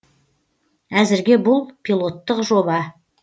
әзірге бұл пилоттық жоба